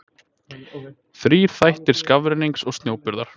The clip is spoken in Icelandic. þrír þættir skafrennings og snjóburðar